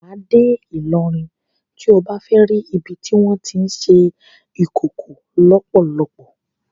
Wà á dé Ìlọrin tí o bá fẹ́ ri ibi tí wọ́n tí ń ṣe Ìkòkò lọ́pọ́lọ́pọ́.